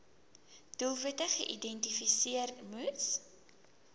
doelwitte geïdentifiseer moes